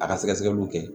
A ka sɛgɛsɛgɛliw kɛ